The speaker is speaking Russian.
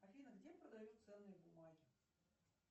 афина где продают ценные бумаги